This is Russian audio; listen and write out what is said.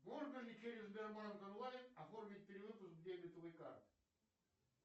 можно ли через сбербанк онлайн оформить перевод с дебетовой карты